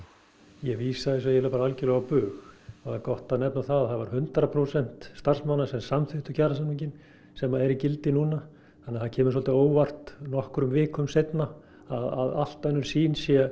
ég vísa þessu eiginlega bara algjörlega á bug það er gott að nefna að hundrað prósent starfsmanna samþykktu kjarasamninginn sem er í gildi núna þannig það kemur svolítið á óvart nokkrum vikum seinna að allt önnur sýn sé